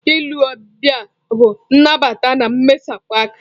Ile ọbịa bụ nnabata na mmesapụ aka.